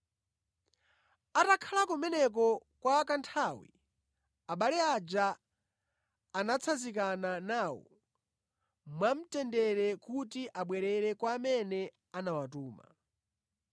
Atakhala kumeneko kwa kanthawi, abale aja anatsanzikana nawo mwamtendere kuti abwerere kwa amene anawatuma.